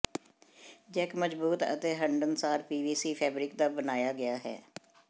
Jack ਮਜ਼ਬੂਤ ਅਤੇ ਹੰਢਣਸਾਰ ਪੀਵੀਸੀ ਫੈਬਰਿਕ ਦਾ ਬਣਾਇਆ ਗਿਆ ਹੈ